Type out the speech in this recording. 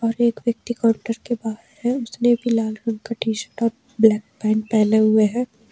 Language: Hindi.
एक व्यक्ति काउंटर के बाहर है उसने भी लाल कलर का टी_शर्ट और ब्लैक पैंट पहने हुए है।